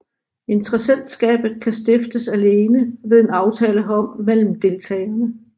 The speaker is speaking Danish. Interessentskabet kan stiftes alene ved en aftale herom mellem deltagerne